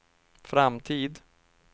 framtid